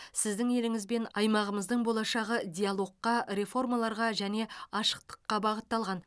сіздің еліңіз бен аймағымыздың болашағы диалогқа реформаларға және ашықтыққа бағытталған